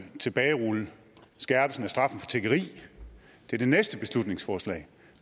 tilbagerulle skærpelsen af straffen for tiggeri det er det næste beslutningsforslag